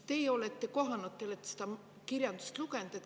Te olete seda kirjandust lugenud.